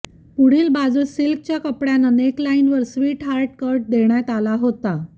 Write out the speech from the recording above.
पुढील बाजूस सिल्कच्या कपड्यानं नेकलाइनवर स्वीटहार्ट कट देण्यात आला होता